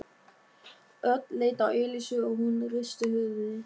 Örn leit á Elísu og hún hristi höfuðið.